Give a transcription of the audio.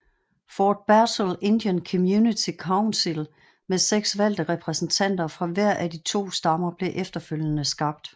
Fort Berthold Indian Community Council med seks valgte repræsentanter fra hver af de to stammer blev efterfølgende skabt